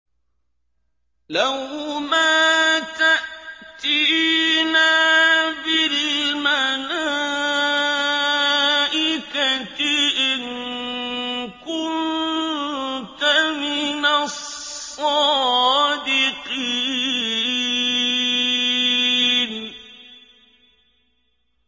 لَّوْ مَا تَأْتِينَا بِالْمَلَائِكَةِ إِن كُنتَ مِنَ الصَّادِقِينَ